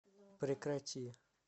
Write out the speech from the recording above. прекрати